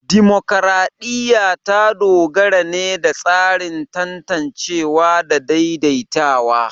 Dimokuradiyya ta dogara ne da tsarin tantancewa da daidaitawa.